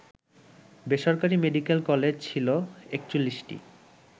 বেসরকারি medical college ছিল ৪১টি